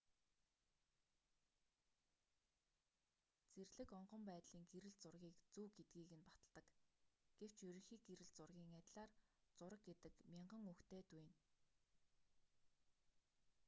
зэрлэг онгон байдлын гэрэл зургийг зөв гэдгийг нь баталдаг гэвч ерөнхий гэрэл зургийн адилаар зураг гэдэг мянган үгтэй дүйнэ